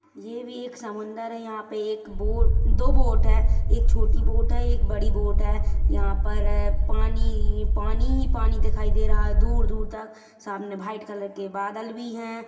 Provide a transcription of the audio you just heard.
ये भी एक समुंदर है यहाँ पे एक बोट दो बोट है एक छोटी दिखाई बोट है एक बड़ी बोट है यहाँ पर पानी ही-पानी ही पानी दिखाई दे रहा है दूर-दूर तक सामने व्हाइट कलर के बादल भी है।